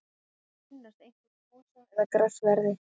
Þau finnast einkum í mosa eða grassverði.